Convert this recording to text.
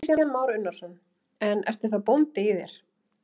Kristján Már Unnarsson: En ertu þá bóndi í þér?